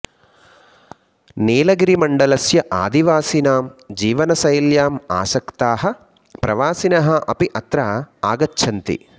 नीलगिरिमण्डलस्य आदिवासिनां जीवनशैल्याम् आसक्ताः प्रवासिनः अपि अत्र आगच्छन्ति